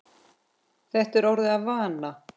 Þetta er orðið að vana.